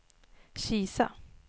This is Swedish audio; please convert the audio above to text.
Kisa